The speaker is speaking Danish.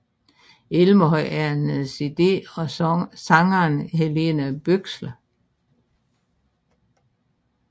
Elverhøy er en cd af sangeren Helene Bøksle